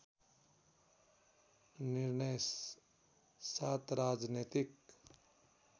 निर्णय सात राजनैतिक